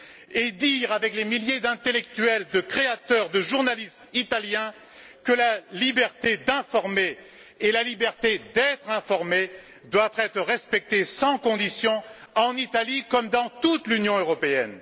et dire avec les milliers d'intellectuels, de créateurs, de journalistes italiens que la liberté d'informer et la liberté d'être informés doivent être respectées sans conditions en Italie comme dans toute l'Union européenne.